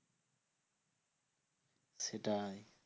সেটাই